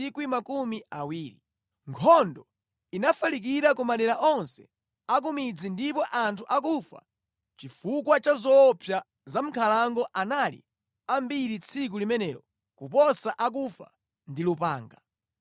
Nkhondo inafalikira ku madera onse akumidzi ndipo anthu akufa chifukwa cha zoopsa za mʼnkhalango anali ambiri tsiku limenelo kuposa akufa ndi lupanga.